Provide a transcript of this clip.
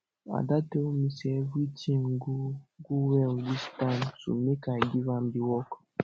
ada tell me say everything go go well dis time so make i give am the work